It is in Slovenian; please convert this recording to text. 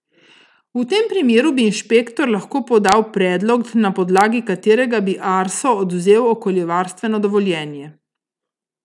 V tem primeru bi inšpektor lahko podal predlog, na podlagi katerega bi Arso odvzel okoljevarstveno dovoljenje.